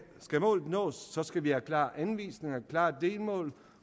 målet nås skal vi have klare anvisninger klare delmål